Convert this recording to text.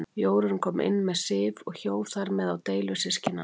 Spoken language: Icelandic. Jórunn kom inn með Sif og hjó þar með á deilur systkinanna.